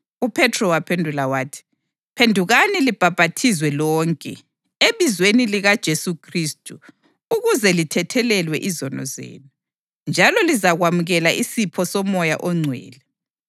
UPhethro waphendula wathi, “Phendukani libhaphathizwe lonke, ebizweni likaJesu Khristu ukuze lithethelelwe izono zenu. Njalo lizakwamukela isipho soMoya oNgcwele.